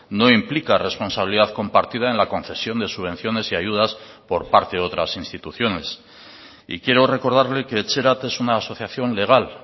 no implica responsabilidad compartida en la concesión de subvenciones y ayudas por parte de otras instituciones y quiero recordarle que etxerat es una asociación legal